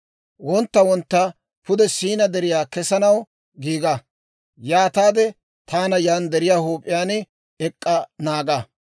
Wontta wontta pude Siinaa Deriyaa kesanaw giiga; yaataade taana yaan deriyaa huup'iyaan ek'k'a naaga.